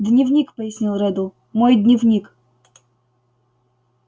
дневник пояснил реддл мой дневник